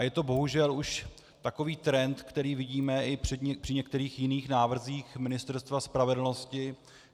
A je to bohužel už takový trend, který vidíme i při některých jiných návrzích Ministerstva spravedlnosti.